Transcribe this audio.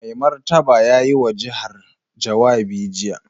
Mai Martaba ya yi wa jihar jawabi jiya.